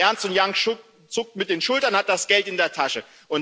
Ernst Young zuckt mit den Schultern, hat das Geld in der Tasche.